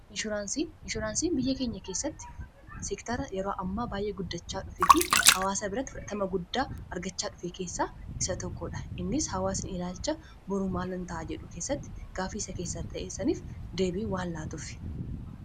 inshuraansiin biyya keenya keessatti siktara yeroo ammaa baay'ee guddachaa dhufee fi hawaasa biratti 40 guddaa argachaa dhufe keessaa isa tokkoodha innis hawaasiin ilaalcha burumaalan ta'a jedhu keessatti gaafiisa keessa ta'essaniif deebii waallaatuuf